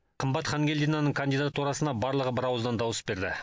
қымбат хангельдинаның кандидатурасына барлығы бірауыздан дауыс берді